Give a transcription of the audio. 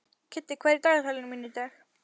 Kiddi, hvað er í dagatalinu mínu í dag?